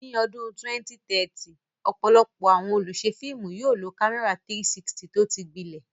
Ní ọdún 2030, ọ̀pọ̀lọpọ̀ àwọn olùṣe fíìmù yóò lo kámẹ́rà 360 tó ti gbilẹ̀.